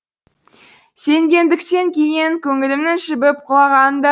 сенгендіктен кейін көңілімнің жібіп құлаған да